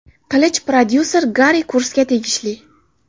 Qilich prodyuser Gari Kursga tegishli.